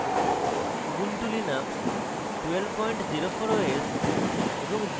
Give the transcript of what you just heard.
ubuntu linux 1204 os এবং